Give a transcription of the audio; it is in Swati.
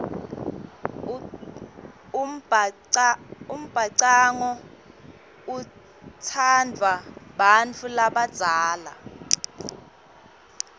umbhacanga utsandvwa bantfu labadzala